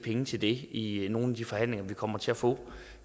penge til det i nogle af de forhandlinger vi kommer til at få